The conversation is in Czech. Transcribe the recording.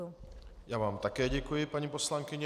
Já vám také děkuji, paní poslankyně.